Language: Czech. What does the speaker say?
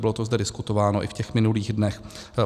Bylo to zde diskutováno i v těch minulých dnech.